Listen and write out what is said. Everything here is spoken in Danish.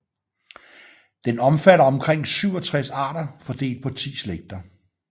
Den omfatter omkring 67 arter fordelt på 10 slægter